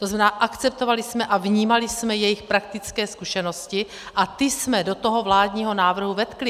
To znamená, akceptovali jsme a vnímali jsme jejich praktické zkušenosti a ty jsme do toho vládního návrhu vetkli.